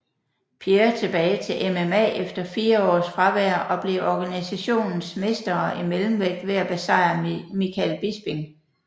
Pierre tilbage til MMA efter fire års fravær og blev organisationens mästare i mellemvægt ved at besejre Michael Bisping